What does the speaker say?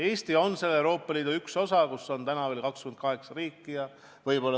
Eesti on selle Euroopa Liidu üks osa, kus on täna veel 28 riiki.